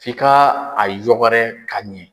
F'i ka a yɔgɔrɛ ka ɲɛ.